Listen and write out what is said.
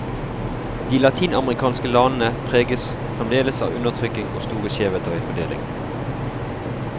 De latinamerikanske landene preges fremdeles av undertrykking og store skjevheter i fordeling.